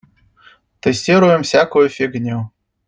тестируем всякую фигню